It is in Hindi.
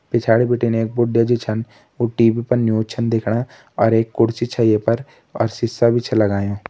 पिछाड़ी बिटिन एक बुढया जी छन उ टी.वी पे न्यूज़ छन देखणा और एक कुर्सी छ ये पर और एक सिसा भी छ लगायूं ।